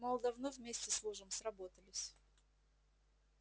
мол давно вместе служим сработались